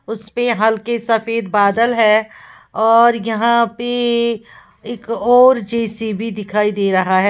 उसपे हल्के सफेद बादल है और यहां पे एक और जे_सी_बी दिखाई दे रहा है।